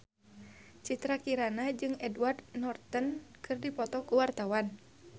Citra Kirana jeung Edward Norton keur dipoto ku wartawan